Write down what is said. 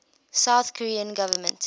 south korean government